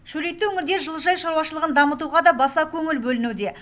шөлейтті өңірде жылыжай шаруашылығын дамытуға да баса көңіл бөлінуде